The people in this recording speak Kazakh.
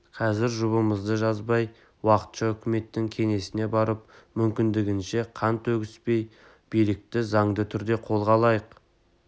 қазір жұбымызды жазбай уақытша үкіметтің кеңсесіне барып мүмкіндігінше қан төгіспей билікті заңды түрде қолға алайық